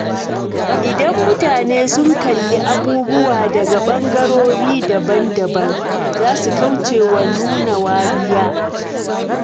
Idan mutane sun kalli abubuwa daga bangarori daban-daban, za su kauce wa nuna wariya.